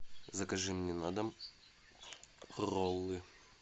закажи мне на дом роллы